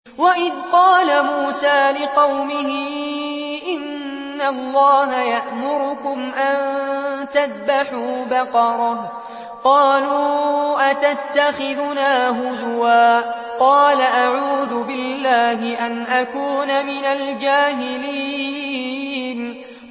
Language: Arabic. وَإِذْ قَالَ مُوسَىٰ لِقَوْمِهِ إِنَّ اللَّهَ يَأْمُرُكُمْ أَن تَذْبَحُوا بَقَرَةً ۖ قَالُوا أَتَتَّخِذُنَا هُزُوًا ۖ قَالَ أَعُوذُ بِاللَّهِ أَنْ أَكُونَ مِنَ الْجَاهِلِينَ